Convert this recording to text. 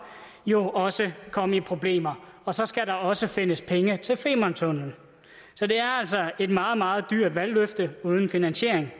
jo også komme i problemer og så skal der også findes penge til femerntunnellen så det er altså et meget meget dyrt valgløfte uden finansiering